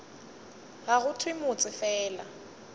ga go thewe motse fela